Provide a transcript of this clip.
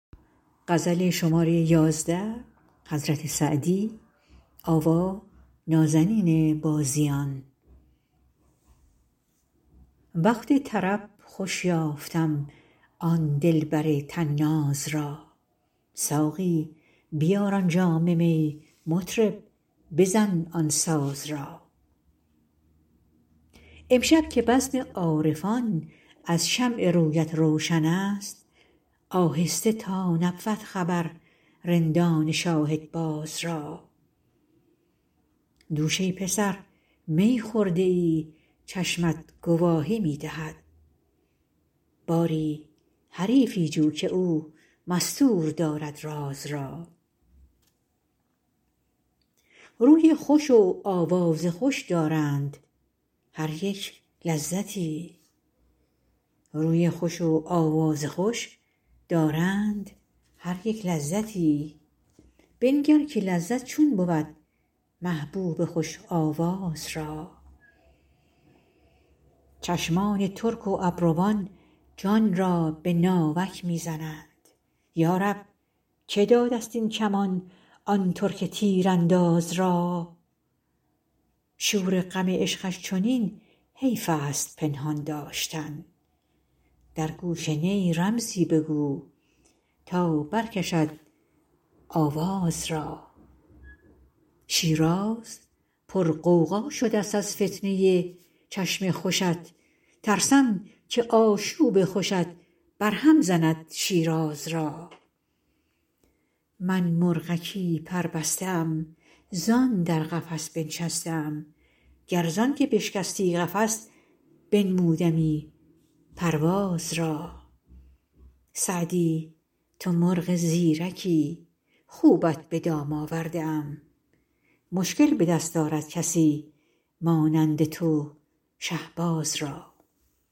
وقت طرب خوش یافتم آن دلبر طناز را ساقی بیار آن جام می مطرب بزن آن ساز را امشب که بزم عارفان از شمع رویت روشن است آهسته تا نبود خبر رندان شاهدباز را دوش ای پسر می خورده ای چشمت گواهی می دهد باری حریفی جو که او مستور دارد راز را روی خوش و آواز خوش دارند هر یک لذتی بنگر که لذت چون بود محبوب خوش آواز را چشمان ترک و ابروان جان را به ناوک می زنند یا رب که داده ست این کمان آن ترک تیرانداز را شور غم عشقش چنین حیف است پنهان داشتن در گوش نی رمزی بگو تا برکشد آواز را شیراز پرغوغا شده ست از فتنه ی چشم خوشت ترسم که آشوب خوشت برهم زند شیراز را من مرغکی پربسته ام زان در قفس بنشسته ام گر زان که بشکستی قفس بنمودمی پرواز را سعدی تو مرغ زیرکی خوبت به دام آورده ام مشکل به دست آرد کسی مانند تو شهباز را